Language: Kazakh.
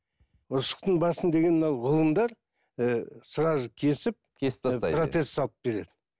ұршықтың басын деген мынау ғылымдар ііі сразу кесіп протез салып береді